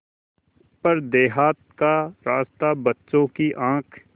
पर देहात का रास्ता बच्चों की आँख